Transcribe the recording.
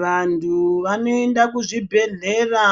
Vantu vanoenda kuzvibhedhlera